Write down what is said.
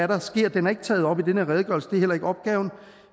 den er ikke taget op i den her redegørelse det er heller ikke opgaven